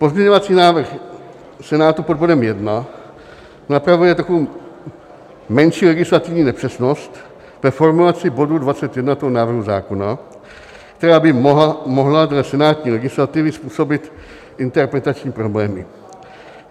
Pozměňovací návrh Senátu pod bodem 1 napravuje takovou menší legislativní nepřesnost ve formulaci bodu 21 návrhu zákona, která by mohla dle senátní legislativy způsobit interpretační problémy.